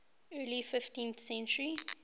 early fifteenth century